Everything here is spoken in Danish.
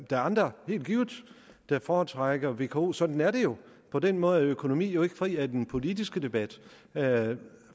er andre helt givet der foretrækker vko sådan er det jo og på den måde er økonomi jo ikke fri af den politiske debat